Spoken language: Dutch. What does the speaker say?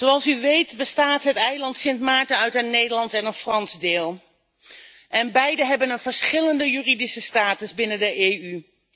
Zoals u weet bestaat het eiland Sint Maarten uit een Nederlands en een Frans deel en beide hebben een verschillende juridische status binnen de EU.